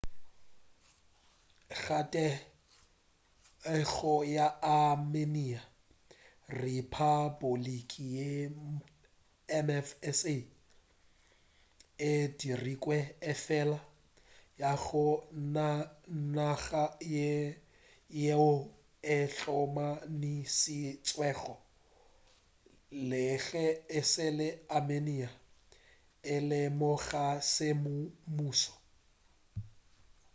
ka thekgo ya armenia rephapoliki ye mfsa e dirilwe efela ga go naga yeo e hlomamišitšwego le ge e le armenia e e lemoga semmušo